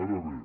ara bé